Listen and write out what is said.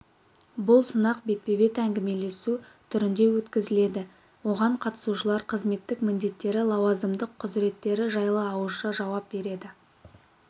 бұл сынақ бетпе-бет әңгімелесу түрінде өткізіледі оған қатысушылар қызметтік міндеттері лауазымдық құзыреттері жайлы ауызша жауап береді